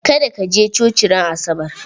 Ka da ka je coci ran asabar!